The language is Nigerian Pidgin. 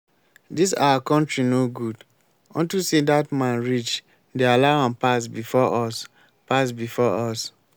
dis our country no good. unto say dat man rich they allow am pass before us pass before us